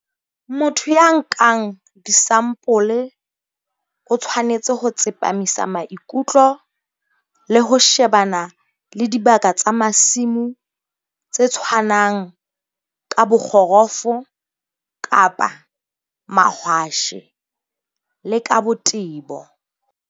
Motho ya nkang disampole o tshwanetse ho tsepamisa maikutlo le ho shebana le dibaka tsa masimo tse tshwanang ka bokgorofo-mahwashe le ka botebo.